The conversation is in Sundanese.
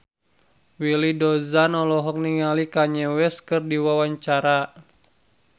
Willy Dozan olohok ningali Kanye West keur diwawancara